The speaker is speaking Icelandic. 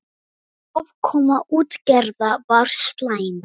Afkoma útgerða var slæm.